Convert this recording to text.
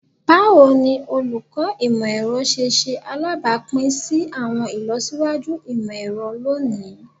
Bawo ni Oluko Imọ-ẹrọ ṣe ṣe alabapin si awọn ilọsiwaju imọ-ẹrọ loni?